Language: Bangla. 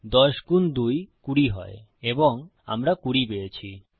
১০ গুন ২ ২০ হয় এবং আমরা ২০ পেয়েছি